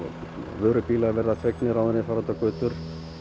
vörubílar verða þvegnir áður en þeir fara út á götur